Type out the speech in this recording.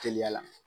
Teliya la